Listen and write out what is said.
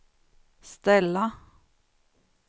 ställa